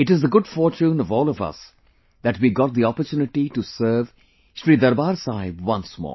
It is the good fortune of all of us that we got the opportunity to serve Shri Darbaar Sahib once more